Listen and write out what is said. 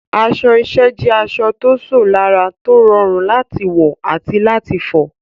Aṣọ iṣẹ́ jẹ́ aṣọ tó ṣò lára, tó rọrùn láti wọ̀ àti láti fọ̀.